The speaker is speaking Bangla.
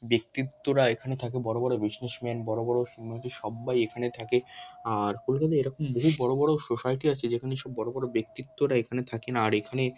ব্যক্তিত্বরা এখানে থাকে বড় বড় বিজনেসম্যান বড় বড় ফিল্ম আর্টিস্ট সব্বাই এখানে থাকে আর কলকাতায় এরকম বহু বড় বড় সোসাইটি আছে যেখানে বড় বড় ব্যক্তিত্বরা এখানে থাকেন আর এখানে--